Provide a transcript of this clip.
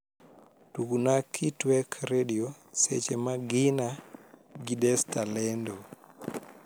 tugna kitwek redio seche ma gina gi desta lendo